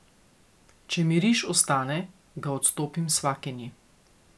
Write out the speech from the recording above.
Če mi riž ostane, ga odstopim svakinji.